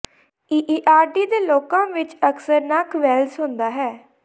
AAERD ਦੇ ਲੋਕਾਂ ਵਿੱਚ ਅਕਸਰ ਨੱਕ ਵੈਲਸ ਹੁੰਦਾ ਹੈ